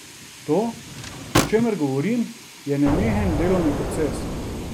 To, o čemer govorim, je nenehen delovni proces.